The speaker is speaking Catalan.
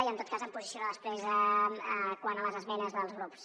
i en tot cas em posiciono després quant a les esmenes dels grups